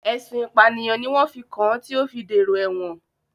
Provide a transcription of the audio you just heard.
Ẹ̀sùn ìpànìyàn ni wọ́n fi kàn án tí ó fi dèrò ẹ̀wọ̀n